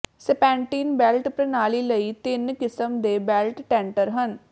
serpentine belt ਪ੍ਰਣਾਲੀ ਲਈ ਤਿੰਨ ਕਿਸਮ ਦੇ ਬੈਲਟ ਟੈਂਟਰ ਹਨ